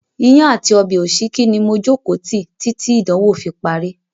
Iyán àti ọbẹ̀ òsíkí ni mo jókòó tí títí ìdánwò fi parí.